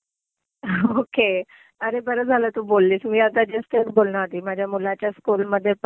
ter okay. अरे बरं झालं तू बोललीस. मी आता जस्ट तेच बोलणार होती. माझ्या मुलाच्या स्कूल मध्ये पण